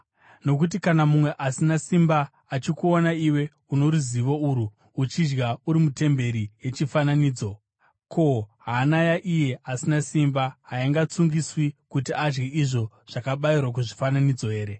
Nokuti kana mumwe asina simba achikuona iwe uno ruzivo urwu uchidya uri mutemberi yechifananidzo, ko, hana yaiye asina simba haingatsungiswi kuti adye izvo zvakabayirwa kuzvifananidzo here?